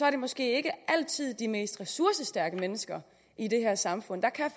at det måske ikke altid er de mest ressourcestærke mennesker i det her samfund der kan